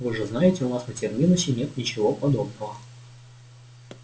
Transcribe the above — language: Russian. вы же знаете у нас на терминусе нет ничего подобного